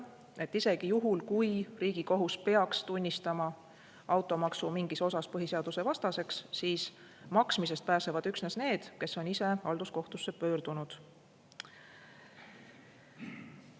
Nii et isegi juhul, kui Riigikohus peaks tunnistama automaksu mingis osas põhiseadusevastaseks, siis maksmisest pääsevad üksnes need, kes on ise halduskohtusse pöördunud.